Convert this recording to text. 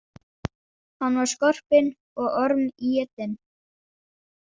Hann var skorpinn og ormétinn.